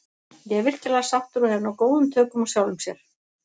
Ég er virkilega sáttur og hef náð góðum tökum á sjálfum sér.